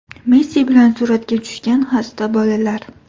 Messi bilan suratga tushgan xasta bolalar.